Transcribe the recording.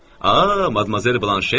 A, Madmazel Blanche.